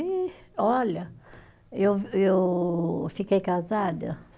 E olha, eu eu fiquei casada